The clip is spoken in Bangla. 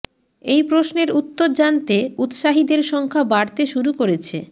এই প্রশ্নের উত্তর জানতে উৎসাহীদের সংখ্যা বাড়তে শুরু করেছে